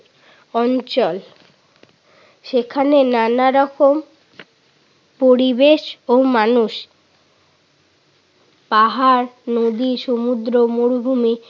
অঞ্চল। সেখানে নানারকম পরিবেশ ও মানুষ পাহাড়, নদী, সমুদ্র, মরুভূমি